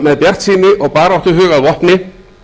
með bjartsýni og baráttuhug að vopni